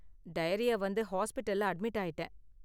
Diarrhoea வந்து ஹாஸ்பிடல்ல admit ஆயிட்டேன்.